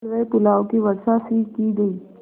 हलवेपुलाव की वर्षासी की गयी